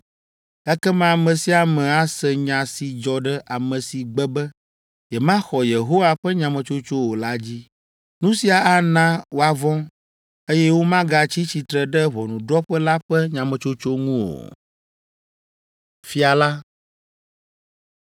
Ekema ame sia ame ase nya si dzɔ ɖe ame si gbe be yemaxɔ Yehowa ƒe nyametsotso o la dzi. Nu sia ana woavɔ̃, eye womagatsi tsitre ɖe ʋɔnudrɔ̃ƒe la ƒe nyametsotso ŋu o.”